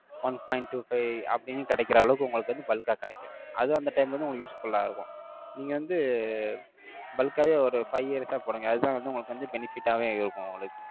one point two five அப்படின்னு கிடைக்கிற அளவுக்கு, உங்களுக்கு வந்து, bulk ஆ கிடைக்கும். அது அந்த time ல வந்து, உங்களுக்கு useful ஆ இருக்கும். நீங்க வந்து, bulk ஆவே, ஒரு five years ஆ போடுங்க. அதுதான் வந்து, உங்களுக்கு வந்து benefit ஆவே இருக்கும்.